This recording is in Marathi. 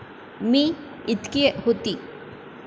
मी. इतकी होती.